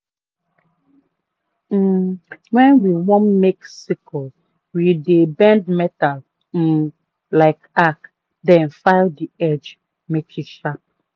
um wen we want make sickle we dey bend metal um like arc then file the edge make e sharp